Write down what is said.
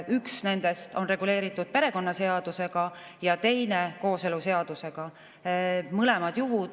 Üks nendest on reguleeritud perekonnaseadusega ja teine kooseluseadusega.